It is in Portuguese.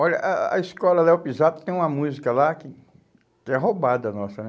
Olha, a a escola Léo Pisato tem uma música lá que é roubada nossa, né?